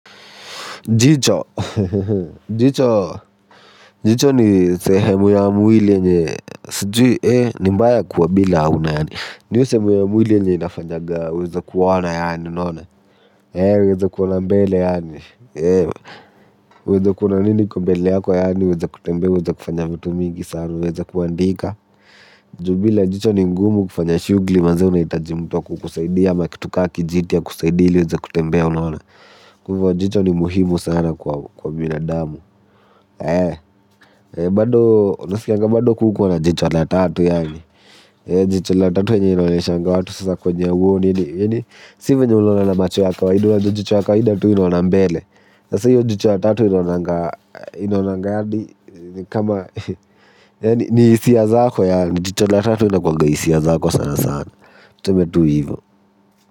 Jicho. Jicho. Jicho ni sehemu ya mwili ye nye. Sijui, eh, ni mbaya kuwa bila hauna yaani. Niyo sehemu ya mwili ya nye inafanyaga. Uweze kuona yaani, unaona. Yani uweze kuona mbele yani uweze kuona mimi niko mbele yako yani uweze kutembea uweze kufanya vitu mingi sana yani uweze kuandika Jubila jicho ni ngumu kufanya shugli mazee na itajimutuwa kukusaidia. Ya kitu kakijitia kusaidia ili uweze kutembea unaona kuwa jicho ni muhimu sana kwa binadamu eh bado kuku wana jicho la tatu yaani jicho la tatu wenye ino neshanga watu sasa kwenye uoni sivu nye ulona na machu ya kwa idu wajo jicho ya kwa hida tu ino nambele sasa hiyo jicho la tatu ino nanga ino nanga hadi kama ni hisia zako yaani jicho la tatu linakuwaga hisia zako sana sana tuseme tu hivo.